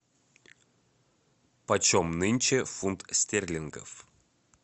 по чем нынче фунт стерлингов